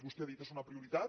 vostè ha dit és una prioritat